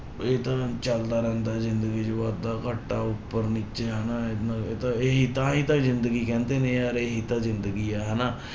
ਇਹ ਤਾਂ ਚੱਲਦਾ ਰਹਿੰਦਾ ਜ਼ਿੰਦਗੀ ਚ ਵਾਧਾ ਘਾਟਾ ਉੱਪਰ ਨੀਚੇ ਹਨਾ, ਇੰਨਾ ਇਹ ਤਾਂ ਇਹੀ ਤਾਂ ਹੀ ਤਾਂ ਜ਼ਿੰਦਗੀ ਕਹਿੰਦੇ ਨੇ ਯਾਰ ਇਹੀ ਤਾਂ ਜ਼ਿੰਦਗੀ ਹੈ ਹਨਾ।